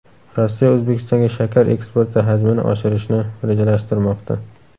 Rossiya O‘zbekistonga shakar eksporti hajmini oshirishni rejalashtirmoqda.